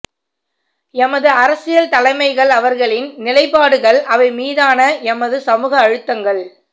எமது அரசியல் தலைமைகள் அவர்களின் நிலைப்பாடுகள் அவை மீதான எமது சமூக அழுத்தங்கள்